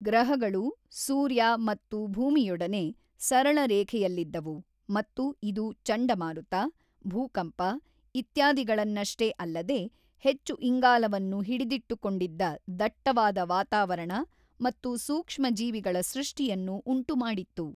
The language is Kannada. ಗ್ರಹಗಳು, ಸೂರ್ಯ ಮತ್ತು ಭೂಮಿಯೊಡನೆ ಸರಳ ರೇಖೆಯಲ್ಲಿದ್ದವು ಮತ್ತು ಇದು ಚಂಡಮಾರುತ, ಭೂಕಂಪ ಇತ್ಯಾದಿಗಳನ್ನಷ್ಟೇ ಅಲ್ಲದೇ, ಹೆಚ್ಚು ಇಂಗಾಲವನ್ನು ಹಿಡಿದಿಟ್ಟುಕೊಂಡಿದ್ದ ದಟ್ಟವಾದ ವಾತಾವರಣ ಮತ್ತು ಸೂಕ್ಷ್ಮಜೀವಿಗಳ ಸೃಷ್ಟಿಯನ್ನು ಉಂಟುಮಾಡಿತ್ತು.